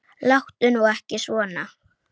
Láttu nú ekki svona.